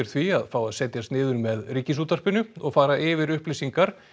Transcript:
því að fá að setjast niður með Ríkisútvarpinu og fara yfir upplýsingar